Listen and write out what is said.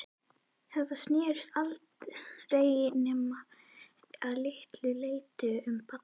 Þetta snerist aldrei nema að litlu leyti um Badda.